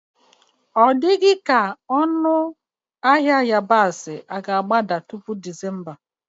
Ọ ga-ekwe omume na ọnụ ahịa yabasị ga-agbada tupu Disemba?